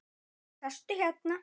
Sestu hérna.